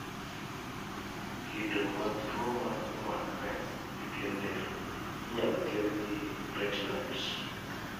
kido mag tuwo ma omakre gi piend del inyalo thiedh gi retinoids